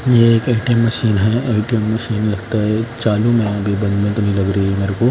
ये एक ATM machine है ए_टी_एम मशीन लगता है चालू में अभी बंद में तो नहीं लग रही है मेरे को--